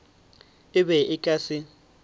e be e ka se